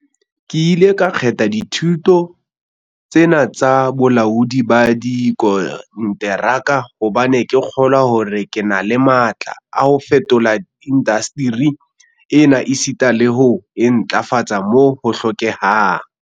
"Ke ile ka kgetha dithuto tse na tsa bolaodi ba dikonteraka hobane ke kgolwa hore ke na le matla a ho fetola indasteri ena esita le ho e ntlafatsa moo ho hlokehang."